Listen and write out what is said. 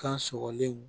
Kan sɔgɔlen